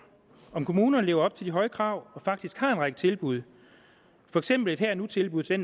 om kommunerne lever op til de høje krav og faktisk har en række tilbud for eksempel et her og nu tilbud til